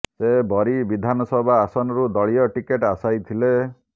ସେ ବରୀ ବିଧାନସଭା ଆସନରୁ ଦଳୀୟ ଟିକେଟ ଆଶାୟୀ ଥିଲେ